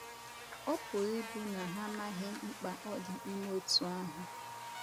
Ọ̀ pụrụ ịbụ na ha amaghị mkpa ọ dị ime otú ahụ?